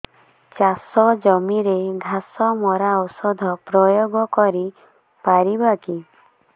ଚାଷ ଜମିରେ ଘାସ ମରା ଔଷଧ ପ୍ରୟୋଗ କରି ପାରିବା କି